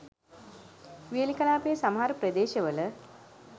වියලි කලාපයේ සමහර ප්‍රදේශ වල